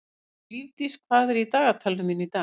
Lífdís, hvað er í dagatalinu mínu í dag?